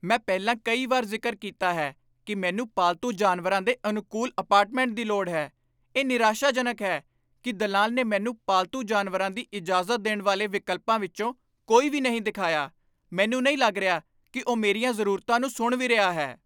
ਮੈਂ ਪਹਿਲਾਂ ਕਈ ਵਾਰ ਜ਼ਿਕਰ ਕੀਤਾ ਹੈ ਕਿ ਮੈਨੂੰ ਪਾਲਤੂ ਜਾਨਵਰਾਂ ਦੇ ਅਨੁਕੂਲ ਅਪਾਰਟਮੈਂਟ ਦੀ ਲੋੜ ਹੈ। ਇਹ ਨਿਰਾਸ਼ਾਜਨਕ ਹੈ ਕਿ ਦਲਾਲ ਨੇ ਮੈਨੂੰ ਪਾਲਤੂ ਜਾਨਵਰਾਂ ਦੀ ਇਜਾਜ਼ਤ ਦੇਣ ਵਾਲੇ ਵਿਕਲਪਾਂ ਵਿੱਚੋਂ ਕੋਈ ਵੀ ਨਹੀਂ ਦਿਖਾਇਆ। ਮੈਨੂੰ ਨਹੀਂ ਲੱਗ ਰਿਹਾ ਕਿ ਉਹ ਮੇਰੀਆਂ ਜ਼ਰੂਰਤਾਂ ਨੂੰ ਸੁਣ ਵੀ ਰਿਹਾ ਹੈ।